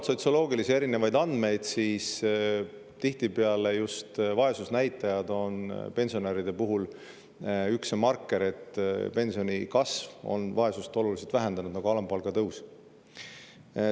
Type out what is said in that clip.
–, siis tihtipeale just vaesusnäitaja on pensionäride puhul üks marker ja et pensionide kasv on vaesust oluliselt vähendanud, nagu alampalga tõuski.